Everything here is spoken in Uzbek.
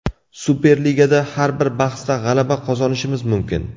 Superligada har bir bahsda g‘alaba qozonishimiz mumkin.